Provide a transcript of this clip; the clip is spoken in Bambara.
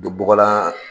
Don bɔgɔlan